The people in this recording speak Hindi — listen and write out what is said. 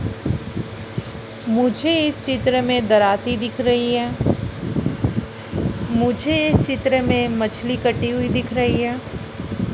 मुझे इस चित्र मे धराती दिख रही है मुझे इस चित्र मे मछली कटी हुई दिख रही है।